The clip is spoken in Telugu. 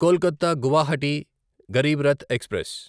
కొల్కత గువాహటి గరీబ్ రథ్ ఎక్స్ప్రెస్